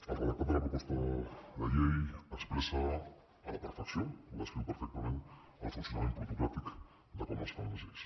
el redactat de la proposta de llei expressa a la perfecció ho descriu perfectament el funcionament plutocràtic de com es fan les lleis